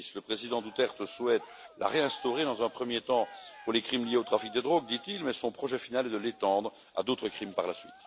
2006. Le président Duterte souhaite la réinstaurer dans un premier temps pour les crimes liés au trafic de drogue, dit il, mais son projet final est de l'étendre à d'autres crimes par la suite.